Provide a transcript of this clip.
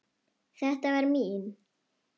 Þetta var mín.